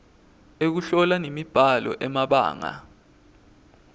ekuhlola nemibhalo emabanga